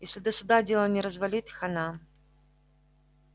если до суда дело не развалить хана